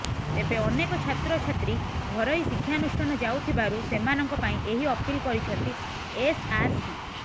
ତେବେ ଅନେକ ଛାତ୍ର ଛାତ୍ରୀ ଘରୋଇ ଶିକ୍ଷାନୁଷ୍ଠାନ ଯାଉଥିବାରୁ ସେମାନଙ୍କ ପାଇଁ ଏହି ଅପିଲ କରିଛନ୍ତି ଏସଆରସି